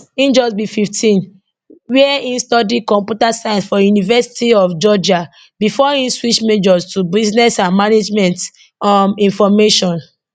im just be 15 wia im study computer science for university of georgia bifor im switch majors to business and management um information